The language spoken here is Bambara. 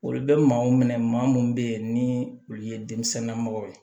Olu bɛ maaw minɛ maa minnu bɛ yen ni olu ye denmisɛnninna mɔgɔw ye